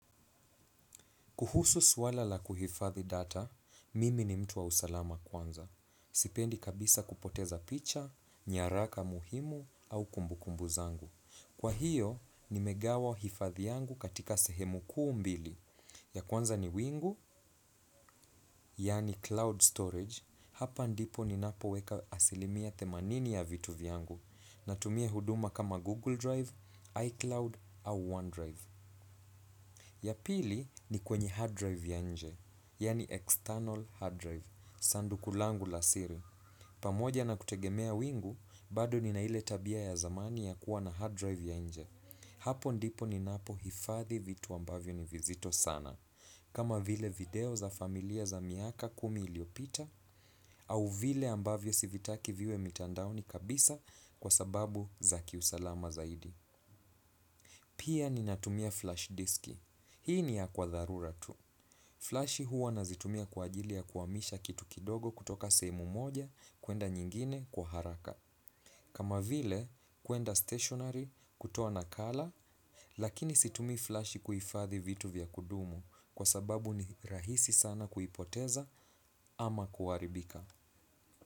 Kuhusu swala la kuhifadhi data, mimi ni mtu wa usalama kwanza. Sipendi kabisa kupoteza picha, nyaraka muhimu au kumbukumbu zangu. Kwa hiyo, nimegawa hifadhi yangu katika sehemu kuu mbili. Ya kwanza ni wingu, yaani cloud storage. Hapa ndipo ninapo weka asilimia themanini ya vitu vyangu. Natumia huduma kama Google Drive, iCloud au OneDrive. Ya pili ni kwenye hard drive ya inje, yani external hard drive, sanduku langu la siri. Pamoja na kutegemea wingu, bado nina ile tabia ya zamani ya kuwa na hard drive ya inje. Hapo ndipo ninapo hifadhi vitu ambavyo ni vizito sana. Kama vile video za familia za miaka kumi iliopita, au vile ambavyo si vitaki viwe mitandaoni kabisa kwa sababu za kiusalama zaidi. Pia nina tumia flash diski. Hii ni ya kwa dharura tu. Flashi huwa nazitumia kwa ajili ya kuhamisha kitu kidogo kutoka sehemu moja kuenda nyingine kwa haraka. Kama vile kuenda stationary kutoa nakala lakini situmi flashi kuhifadhi vitu vya kudumu kwa sababu ni rahisi sana kuipoteza ama kuharibika.